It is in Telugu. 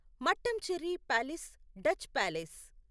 Mattancherry palace Dutch palace